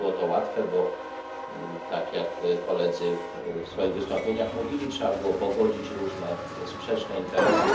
Nie było to łatwe, bo tak, jak koledzy mówili w swoich wystąpieniach trzeba było pogodzić różne sprzeczne interesy.